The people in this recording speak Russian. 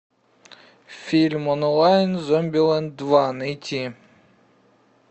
фильм онлайн зомбилэнд два найти